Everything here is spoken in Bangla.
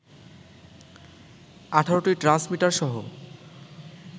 ১৮টি ট্রান্সমিটার সহ